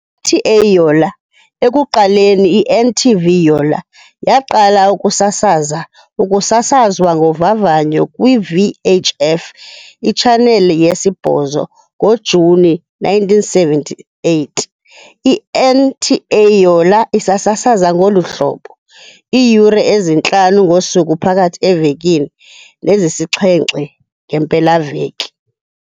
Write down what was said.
NTA Yola, ekuqaleni i-NTV-Yola, yaqala ukusasaza ukusasazwa ngovavanyo kwi-VHF itshaneli yesi-8 ngoJuni 1978, i-NTA Yola isasasaza ngolu hlobo, iiyure ezintlanu ngosuku phakathi evekini nezisixhenxe ngeempelaveki.